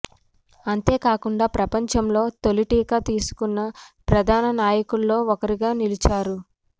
అంతేకాకుండా ప్రపంచంలో తొలి టీకా తీసుకున్న ప్రధాన నాయకుల్లో ఒకరిగా నిలిచారు